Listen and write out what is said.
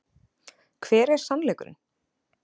Hver er sannleikurinn?